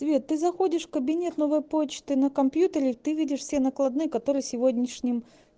привет ты заходишь в кабинет новой почты на компьютере ты видишь все накладные которые сегодняшним